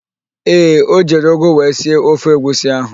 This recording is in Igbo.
Ee, o jiri ụgụ wee sie ofe egwusi ahụ.